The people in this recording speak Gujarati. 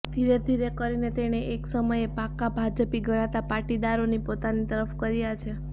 ધીરે ધીરે કરીને તેણે એક સમયે પાક્કા ભાજપી ગણાતા પાટીદારોને પોતાની તરફ કર્યા છે